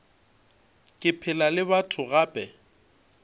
ke phela le batho gape